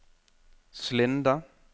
Slinde